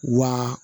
Wa